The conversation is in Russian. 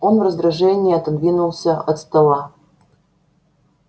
он в раздражении отодвинулся от стола